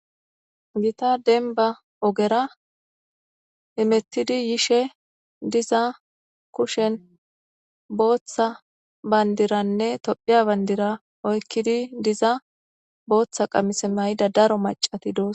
Gita dembba oogera hemetidi yishe diza kushen boththa bamdiranne tophiya bandira oyqiddi yoza booththa daro maccati de'ossonna